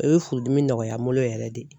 I bɛ furudimi nɔgɔya n bolo yɛrɛ de.